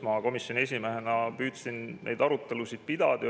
Mina komisjoni esimehena püüdsin neid arutelusid pidada.